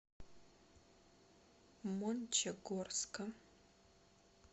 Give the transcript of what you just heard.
мончегорска